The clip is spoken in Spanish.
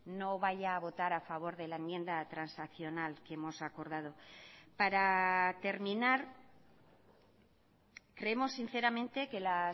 no vaya a votar a favor de la enmienda transaccional que hemos acordado para terminar creemos sinceramente que la